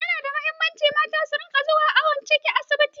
Ya nada muhimmanci mata sun rinƙa zuwa awon ciki a asibiti